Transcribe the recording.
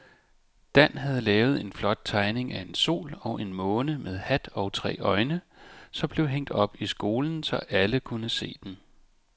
Dan havde lavet en flot tegning af en sol og en måne med hat og tre øjne, som blev hængt op i skolen, så alle kunne se den.